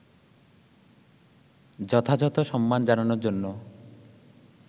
যথাযথ সম্মান জানানোর জন্য